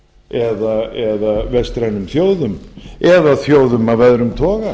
eða vestrænum þjóðum eða þjóðum af öðrum toga